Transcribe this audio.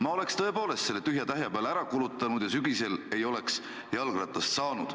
Ma oleks tõepoolest selle tühja-tähja peale ära kulutanud ja sügisel ei oleks jalgratast saanud.